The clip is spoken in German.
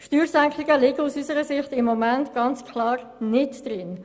Steuersenkungen liegen aus unserer Sicht im Moment ganz klar nicht drin.